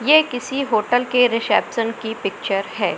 यह किसी होटल के रिसेप्शन की पिक्चर है।